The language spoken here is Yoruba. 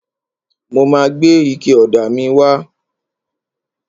Mo ma gbé ike ọ̀dà míì wá.